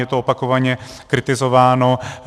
Je to opakovaně kritizováno.